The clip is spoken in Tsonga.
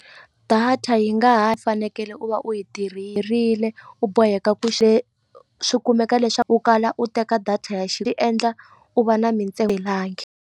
Data yi nga ha fanekele u va u yi u boheka ku swi kumeka leswaku u kala u teka data endla u va na .